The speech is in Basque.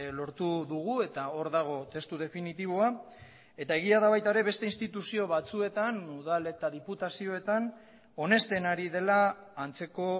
lortu dugu eta hor dago testu definitiboa eta egia da baita ere beste instituzio batzuetan udal eta diputazioetan onesten ari dela antzeko